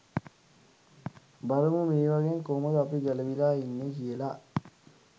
බලමු මේවගෙන් කොහොමද අපි ගැලවිලා ඉන්නේ කියලා.